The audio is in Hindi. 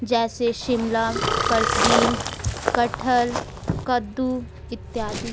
जैसे शिमला फर्श बिन कटहल कद्दू इत्यादि।